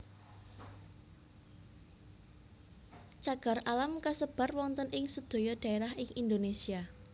Cagar alam kasebar wonten ing sedaya dhaerah ing Indonesia